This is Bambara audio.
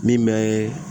Min bɛ